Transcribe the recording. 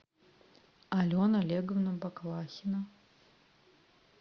алена олеговна баклахина